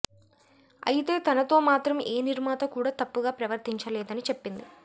అయతే తనతో మాత్రం ఏ నిర్మాత కూడా తప్పుగా ప్రవర్తించలేదని చెప్పింది